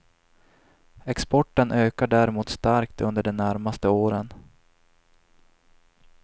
Exporten ökar däremot starkt under de närmaste åren.